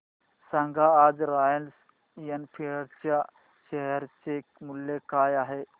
सांगा आज Royal Enfield च्या शेअर चे मूल्य काय आहे